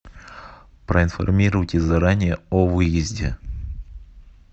проинформируйте заранее о выезде